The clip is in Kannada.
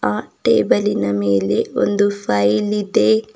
ಆ ಟೇಬಲಿನ ಮೇಲೆ ಒಂದು ಫೈಲಿದೆ.